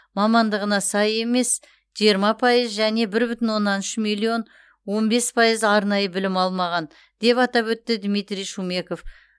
мамандығына сай емес емес жиырма пайыз және бір бүтін оннан үш миллион он бес пайыз арнайы білім алмаған деп атап өтті дмитрий шумеков